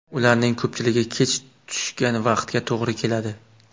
Ularning ko‘pchiligi kech tushgan vaqtga to‘g‘ri keladi.